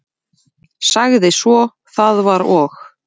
Sagði svo: Það var og